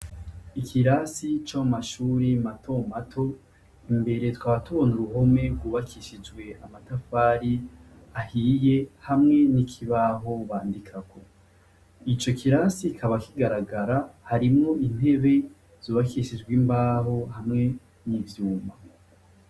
Ikirasi co mu mashuri mato mato imbere tukaba tubona uruhome rwubakishijwe amatafari ahiye hamwe n'ikibaho bandikako, ico kirasi kikaba kigaragara harimwo intebe zubakishijwe imbaho hamwe n'ivyuma.